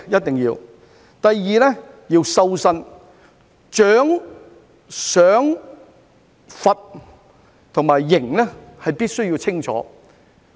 第二，要"修身"，獎、賞、罰、刑必須清楚。